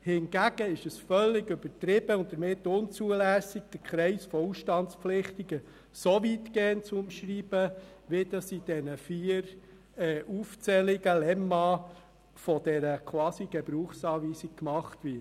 Hingegen ist es völlig übertrieben und damit unzulässig, den Kreis der Ausstandspflichtigen so weit zu fassen, wie dies im Papier «Wichtige Informationen zu Traktandum 1 der Märzsession» unter «Beispiele für Ausstandsgründe bei persönlichem Interesse an der Sache oder beim Anschein der Befangenheit aus anderen Gründen» gemacht wird.